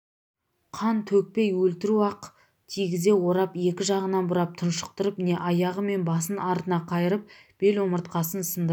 қан төкпейөлтіру ақ кигізге орап екі жағынан бұрап тұншықтырып не аяғы мен басын артына қайырып бел омыртқасын сындырып